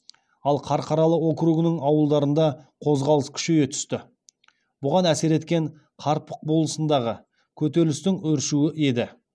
ал қарқаралы округінің ауылдарында қозғалыс күшейе түсті бұған әсер еткен қарпық болысындағы көтерілістің өршуі еді